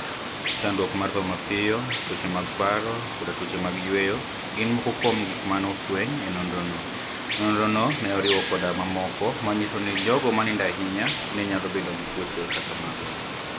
Chanidruok mar tho mapiyo, tuoche mag paro, koda tuoche mag yweyo, gini moko kuom gik ma ni e ofweniy e nonirono. nonirono ni e oriwo koda mamoko maniyiso nii jogo maniinido ahiniya niyalo bedo gi tuoche kaka mago.